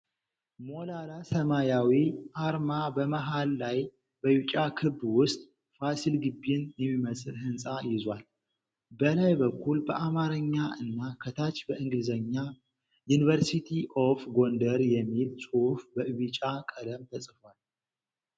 ሞላላ ሰማያዊ አርማ በመሃል ላይ በቢጫ ክብ ውስጥ ፋሲል ግቢን የሚመስል ህንፃ ይዟል። በላይ በኩል በአማርኛ እና ከታች በእንግሊዘኛ "UNIVERSITY OF GONDAR" የሚል ጽሁፍ በቢጫ ቀለም ተጽፏል።